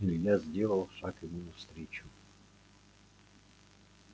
илья сделал шаг ему навстречу